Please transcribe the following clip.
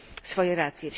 swoje racje.